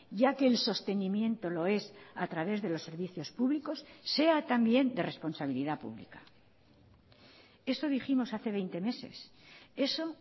ya que el sostenimiento lo es a través de los servicios públicos sea también de responsabilidad pública eso dijimos hace veinte meses eso